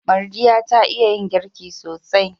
Mardiya ta iya yin girki sosai.